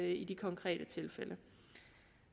i de konkrete tilfælde